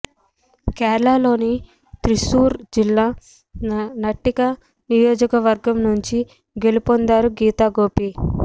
కేరళలోని త్రిస్సూర్ జిల్లా నట్టిక నియోజకవర్గం నుంచి గెలుపొందారు గీతా గోపి